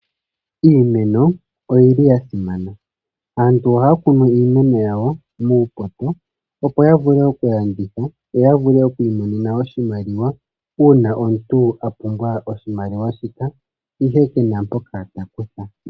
Iimeno oyi li ya simana. Aantu ohaya kunu iimeno yawo muupoto, opo ya vule okulanditha yo ya vule oku imonena oshimaliwa uuna omuntu a pumbwa oshimaliwa shika, ihe ke na mpoka ta kutha.